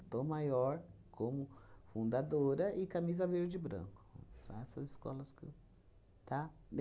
Tom Maior como fundadora e Camisa Verde e Branco. São essas escolas que eu, tá?